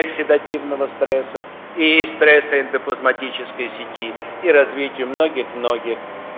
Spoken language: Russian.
оксидативного стресса и стресса эндоплазматической сети и развитию многих многих